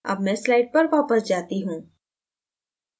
अब मैं slides पर वापस जाता हूँ